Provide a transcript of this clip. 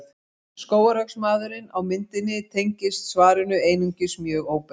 Skógarhöggsmaðurinn á myndinni tengist svarinu einungis mjög óbeint.